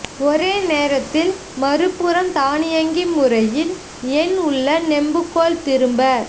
ஒரே நேரத்தில் மறுபுறம் தானியங்கி முறையில் என் உள்ள நெம்புகோல் திரும்ப